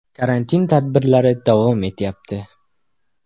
“Karantin tadbirlari davom etyapti.